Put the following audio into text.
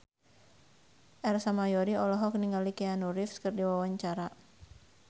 Ersa Mayori olohok ningali Keanu Reeves keur diwawancara